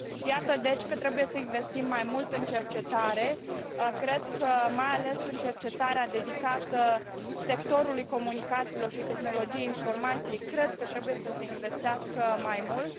Iată deci că trebuie să investim mai mult în cercetare, cred că mai ales în cercetarea dedicată sectorului comunicațiilor și tehnologiei informației trebuie să se investească mai mult.